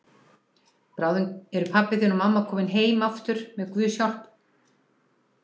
Bráðum eru pabbi þinn og mamma komin heim aftur með Guðs hjálp.